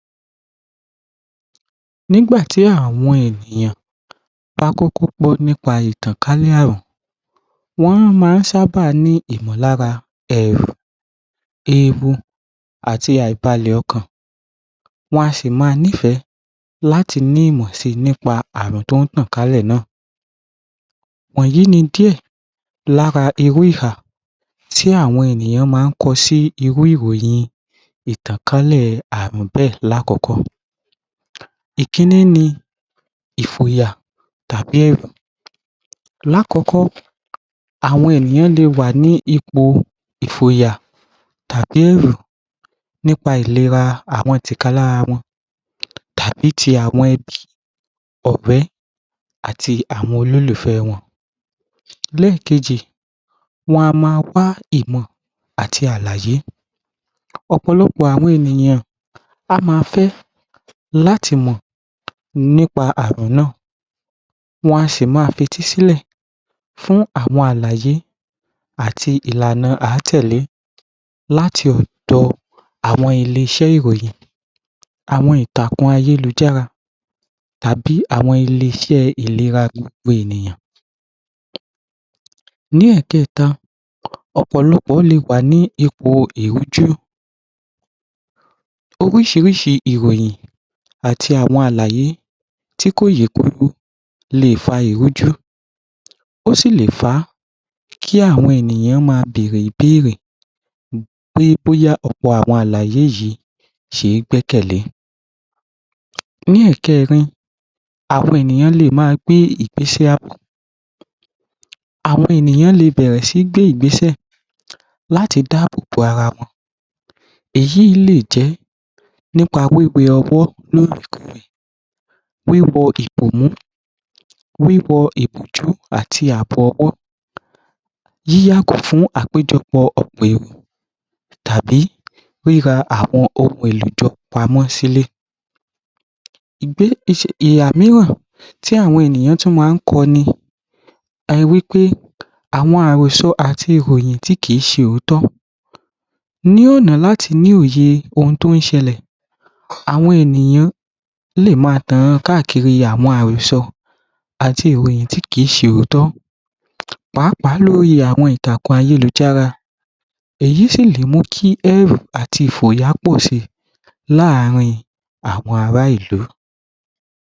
Nígbà tí àwọn ènìyàn bá kọ́kọ́ gbọ́ nípa ìtànkálẹ̀ àrùn, wọ́n má a ń sábàá ní ìmọ̀lára ẹ̀rù, ewu àti àìbalẹ̀ ọkàn, wọn a sì má nífẹ̀ láti ní ìmọ̀ si nípa àrùn tó ń tàn kálẹ̀ náà. Wọ̀nyí ni díẹ̀ lára irú ìhà tí àwọn ènìyàn má a ń kọ sí ìròyìn irú ìtànkálẹ̀ àrùn bẹ́ẹ̀ lákọ̀kọ́. Ìkínní ni ìfòyà tàbí ẹ̀rù, lákọ̀kọ́, àwọn ènìyàn lè wà ní ipò ìfòyà nípa ìlera àwọn tìkálára wọn, tàbí ti àwọn ẹbí, ọ̀rẹ́ àti àwọn olólùfẹ wọn. Léèkejì, wọn a má a wá ìmọ̀ àti àlàyé, ọ̀pọ̀lọpọ̀ àwọn ènìyàn, wọ́n a má a fẹ́ láti mọ̀ nípa àrùn náà, wọ́n a sì máa fetí sílẹ̀ fún àwọn àlàyé àti ìlànà à á tẹ̀lẹ́ láti ọ̀dọ̀ ilé-iṣẹ́ ìròyìn, àwọn ìtàkùn ayélujára tàbí àwọn ilé-iṣẹ́ ìlera gbogbo ènìyàn. Ní ẹ̀ẹ̀kẹ́ta, ọ̀pọ̀lọpọ̀ lè wà ní ipò ìrújú, oríṣiríṣi ìròyìn àti àwọn àlàyé tí kò yé kólú le è fa ìrújú, ó sì lè fà á kí àwọn ènìyàn má a bèèrè ìbéèrè pé bóyá ọ̀pọ̀ àwọn àláyé yìí ṣe é gbẹ́kẹ̀lé. Ní ẹ̀kẹrin, àwọn ènìyàn lè má a gbé ìgbésẹ̀ ààbò; àwọn ènìyàn le è bẹ̀rẹ̀ sí gbé ìgbésẹ̀ láti dáàbò bo ara wọn, èyí ì lè jẹ́ nípa wíwẹ ọwọ́ lòòrè-kóòrè, wíwọ ìbòmú, wíwọ ìbòjú àti àbọwọ́, yíyàgò fún àpèjọpọ̀ ọ̀pọ̀ èrò tàbí ríra àwọn èèlò jọ pamọ́ sílé. Ìhà míràn tí àwọn ènìyàn tún má a ń kọ ni wí pé àwọn àròsọ àti ìròyìn tí kì í ṣe òótọ́, ní ọ̀nà láti ní òye ohun tó ń ṣẹlẹ̀, àwọn ènìyàn lè má a tan káàkiri àwọn àròsọ àti ìròyìn tí kì í ṣe òótọ́, pàápàá lórí ìtàkùn ayálujára, èyí sì lè mú kí ẹ̀rù àti ìfòyà pọ̀ si làárín àwọn ará ìlú.